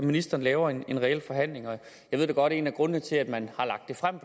at ministeren laver en reel forhandling jeg ved da godt at en af grundene til at man